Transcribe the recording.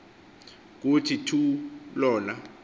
kuthi thu lona